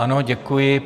Ano, děkuji.